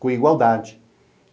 com igualdade.